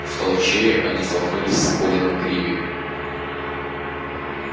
в толчее они столкнулись с колином криви